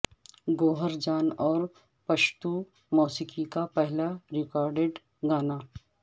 گوہر جان اور پشتو موسیقی کا پہلا ریکارڈڈ گانا